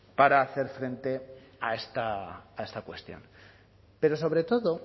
para hacer frente a esta cuestión pero sobre todo